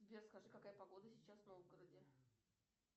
сбер скажи какая погода сейчас в новгороде